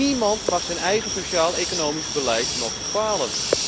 Niemand mag zijn eigen sociaal economisch beleid nog bepalen.